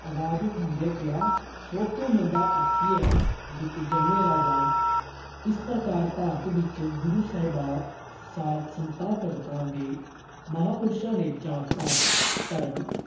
ਆਵਾਜ ਉਠਾਉਂਦਿਆਂ ਕਿਹਾ, ਸੋ ਕਿਉ ਮੰਦਾ ਆਖੀਐ ਜਿਤੁ ਜੰਮਹਿ ਰਾਜਾਨ॥ ਇਸ ਪ੍ਰਕਾਰ ਭਾਰਤ ਵਿੱਚ ਗੁਰੂ ਸਾਹਿਬਾਂ, ਸੰਤਾਂ, ਭਗਤਾਂ, ਮਹਾਪੁਰਸ਼ਾਂ ਨੇ ਜਾਤ-ਪਾਤ, ਧਰਮ